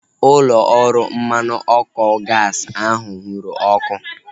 Ụlọ ọrụ mmanụ ọkụ gaasi ahu nwụrụ ọkụ